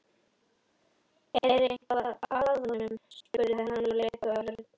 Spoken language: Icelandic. Er eitthvað að honum? spurði hann og leit á Örn.